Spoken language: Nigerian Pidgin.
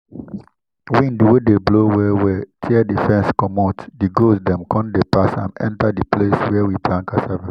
wind wey dey blow well well tear the fence commot the goats dem con dey pass am enter the place where we plant cassava.